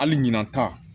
Hali ɲina ta